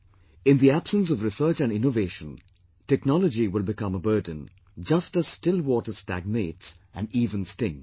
In the absence of research and innovation, technology will become a burden, just as still water stagnates and even stinks